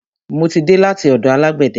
Mo ti dé láti ọ̀dọ̀ alágbẹ̀de.